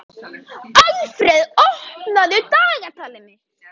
Alfreð, opnaðu dagatalið mitt.